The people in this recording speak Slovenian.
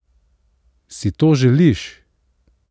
Si to želiš?